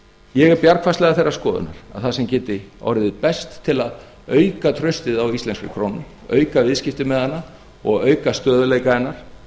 ég er bjargfastlega þeirrar skoðunar að það sem geti orðið best til að auka traustið á íslenskum krónum auka viðskipti með hana og auka stöðugleikahennar